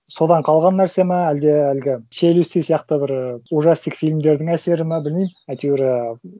содан қалған нәрсе ма әлде әлгі челюсти сияқты бір ужастик фильмдердің әсері ма білмеймін әйтеуір ыыы